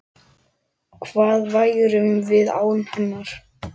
Hvað værum við án hennar?